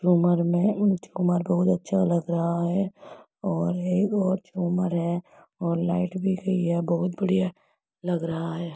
झूमर मे उम झूमर बहुत अच्छा लग रहा है और एक और झूमर है और लाइट भी गई है। बहुत बढ़िया लग रहा है।